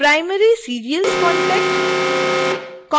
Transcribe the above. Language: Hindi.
primary serials contact